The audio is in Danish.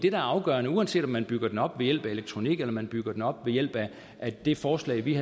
er afgørende uanset om man bygger den op ved hjælp af elektronik eller om man bygger den op ved hjælp af det forslag vi